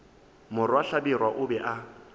morwa hlabirwa o be a